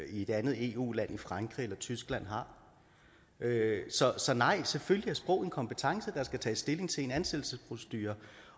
i et andet eu land i frankrig eller i tyskland har så nej selvfølgelig er sprog en kompetence der skal tages stilling til i en ansættelsesprocedure